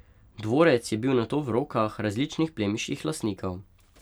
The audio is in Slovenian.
Dvorec je bil nato v rokah različnih plemiških lastnikov.